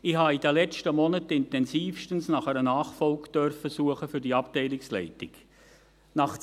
Ich durfte in den letzten Monaten intensiv nach einer Nachfolge für die Abteilungsleitung suchen.